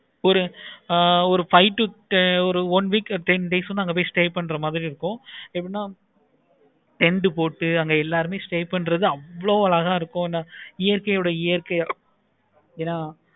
ஒரு ஆஹ் ஒரு five to one week days அங்க போய் stay பண்ற மாதிரி இருக்கும். tent போட்டு அங்க எல்லாரும் stay பண்றது அவ்வளோ அழகா இருக்கும். இயற்கையோட இயற்கையை